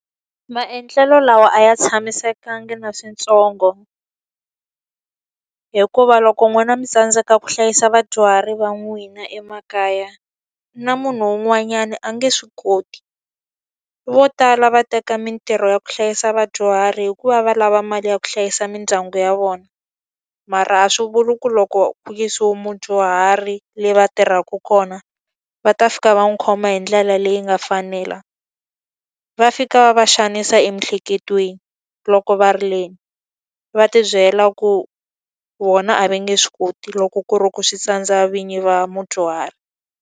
Maendlelo lawa a ya tshamisekanga na swintsongo, hikuva loko n'wina mi tsandzeka ku hlayisa vadyuhari va n'wina emakaya, na munhu un'wanyana a nge swi koti. Vo tala va teka mintirho ya ku hlayisa vadyuhari hikuva va lava mali ya ku hlayisa mindyangu ya vona. Mara a swi vuli ku loko ku yisiwe mudyuhari le va tirhaka kona, va ta fika va n'wi khoma hi ndlela leyi nga fanela. Va fika va xanisa emiehleketweni loko va ri le, ni va ti byela ku vona a va nge swi koti loko ku ri ku swi tsandza vinyi va mudyuhari.